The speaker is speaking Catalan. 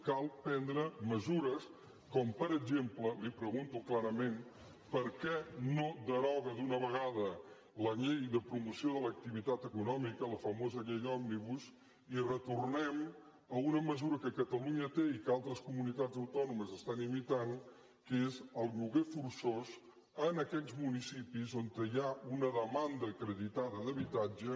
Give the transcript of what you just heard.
cal prendre mesures com per exemple li pregunto clarament per què no deroga d’una vegada la llei de promoció de l’activitat econòmica la famo sa llei òmnibus i retornem a una mesura que catalunya té i que altres comunitats autònomes estan imitant que és el lloguer forçós en aquells municipis on hi ha una demanda acreditada d’habitatge